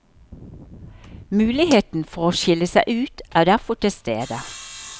Muligheten for å skille seg ut er derfor til stede.